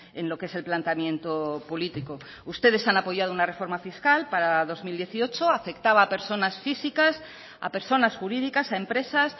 en lo que es el planteamiento político ustedes han apoyado una reforma fiscal para dos mil dieciocho afectaba a personas físicas a personas jurídicas a empresas